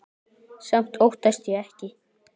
Samt óttast ég ekki.